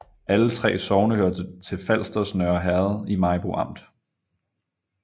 Alle 3 sogne hørte til Falsters Nørre Herred i Maribo Amt